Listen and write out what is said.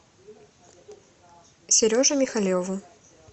сереже михалеву